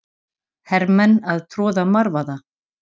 Hermenn að troða marvaða.